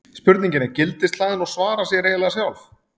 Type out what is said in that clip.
Spurningin er gildishlaðin og svarar sér eiginlega sjálf.